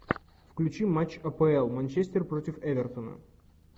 включи матч апл манчестер против эвертона